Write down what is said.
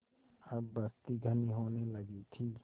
अब बस्ती घनी होने लगी थी